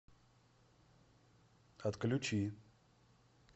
отключи